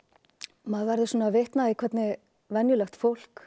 maður verður svona vitni að því hvernig venjulegt fólk